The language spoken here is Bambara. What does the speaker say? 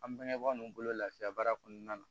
An bangebaaw bolo lafiya baara kɔnɔna na